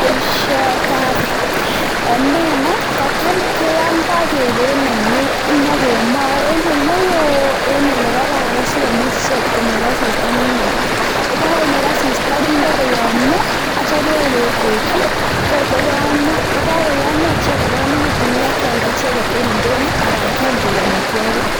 Boisiotab omena kotam keyomdoi beek eng oinet nyokemoei eng ole woo eng ole kararan si komuch ichek konyor asista ne makat, ye kakonyor asista kinde koyomio acha kewekweknyi tor koyomio ye kakoyomio che kokararanitu ipkealda eng indonyo ana keam koek amitwogik.